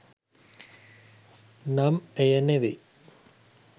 නම් එය නෙවෙයි.